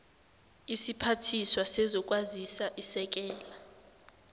isiphathiswa sezokwazisa isekela